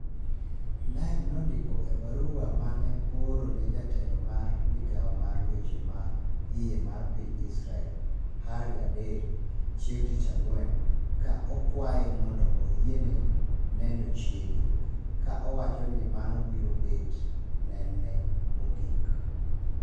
Tlaib ne ondiko e barua mane ooro ne jatelo mar migao mar weche ma iye mar piny Israel ( Aryeh Deri) chieng tich ang'wen, ka okuoya mondo oyiene neno chiege, ka owacho ni mano biro bet nen ne mogik